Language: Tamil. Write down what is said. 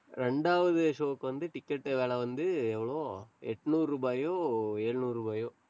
ரெண்டாவது show க்கு வந்து, ticket விலை வந்து, எவ்வளோ? எட்நூறு ரூபாயோ, எழுநூறு ரூபாயோ